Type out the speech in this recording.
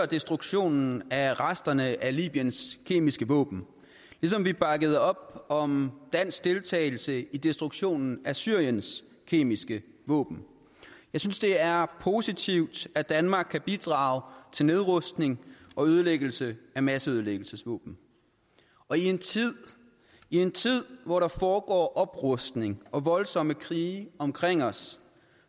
destruktionen af resterne af libyens kemiske våben ligesom vi bakkede op om dansk deltagelse i destruktionen af syriens kemiske våben jeg synes det er positivt at danmark kan bidrage til nedrustningen og ødelæggelsen af masseødelæggelsesvåben og i en tid hvor der foregår oprustning og voldsomme krige omkring os